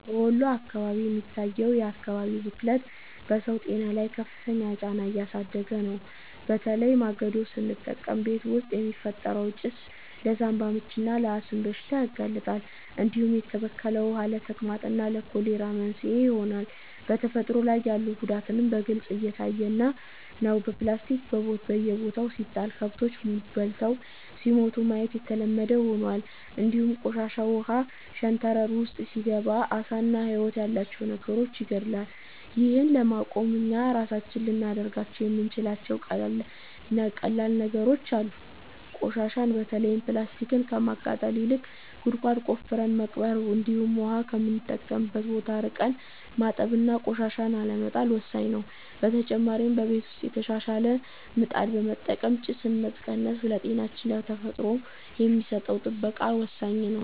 በወሎ አካባቢ የሚታየው የአካባቢ ብክለት በሰው ጤና ላይ ከፍተኛ ጫና እያሳደረ ነው፤ በተለይ ማገዶ ስንጠቀም ቤት ውስጥ የሚፈጠረው ጭስ ለሳንባ ምችና ለአስም በሽታ ያጋልጣል፣ እንዲሁም የተበከለ ውሃ ለተቅማጥና ለኮሌራ መንስኤ ይሆናል። በተፈጥሮ ላይ ያለው ጉዳትም በግልጽ እየታየ ነው፤ ፕላስቲክ በየቦታው ሲጣል ከብቶች በልተው ሲሞቱ ማየት የተለመደ ሆኗል፣ እንዲሁም ቆሻሻ ውሃ ሸንተረር ውስጥ ሲገባ ዓሳና ህይወት ያላቸው ነገሮችን ይገድላል። ይህን ለማቆም እኛ ራሳችን ልናደርጋቸው የምንችላቸው ቀላል ነገሮች አሉ፤ ቆሻሻን በተለይም ፕላስቲክን ከማቃጠል ይልቅ ጉድጓድ ቆፍረን መቅበር፣ እንዲሁም ውሃ ከምንጠቀምበት ቦታ ርቀን ማጠብና ቆሻሻን አለመጣል ወሳኝ ነው። በተጨማሪ በቤት ውስጥ የተሻሻለ ምጣድ በመጠቀም ጭስን መቀነስ ለጤናችንና ለተፈጥሮ የሚሰጠን ጥበቃ ወሳኝ ነው።